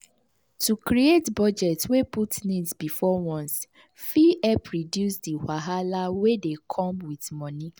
to create budget wey put needs before wants fit help reduce di wahala wey dey come with money.